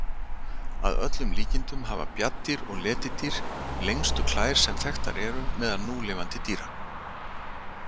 Að öllum líkindum hafa bjarndýr og letidýr lengstu klær sem þekktar eru meðal núlifandi dýra.